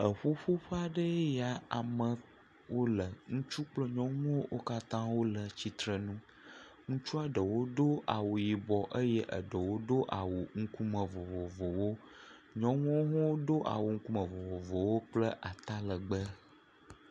Eƒuƒoƒe aɖee ya. Amewo le. Ŋutsu kple nyɔnuwo. Wo katã wole tsitrenu. Ŋutsua ɖewo ɖo awu yibɔ eye amea ɖewo ɖo awu ŋkume vovovowo. Nyɔnuwo hã ɖo awu ŋkume vovovowo kple atalɛgbɛ.